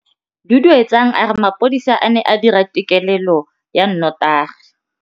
Duduetsang a re mapodisa a ne a dira têkêlêlô ya nnotagi.